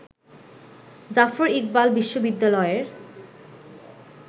জাফর ইকবাল বিশ্ববিদ্যালয়ের